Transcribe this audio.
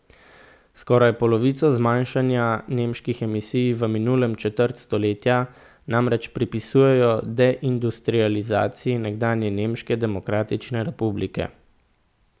Skoraj polovico zmanjšanja nemških emisij v minulem četrt stoletja namreč pripisujejo deindustrializaciji nekdanje Nemške demokratične republike.